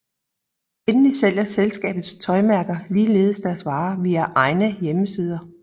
Endelig sælger selskabets tøjmærker ligeledes deres varer via egne hjemmesider